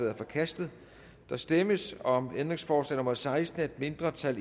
er forkastet der stemmes om ændringsforslag nummer seksten af et mindretal